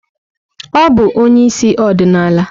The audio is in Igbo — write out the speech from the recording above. Ọ bụ onye isi ọdịnala?